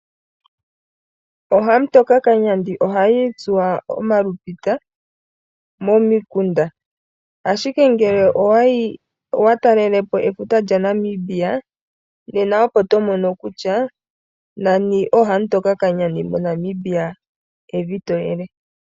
Ookamutokakanyandi ohaya itsuwa omalupita momikunda ashike ngele owa talelapo efuta lyaNamibia nena opo tomono kutya nani ookamutokakanyandi moNamibia evi toyele.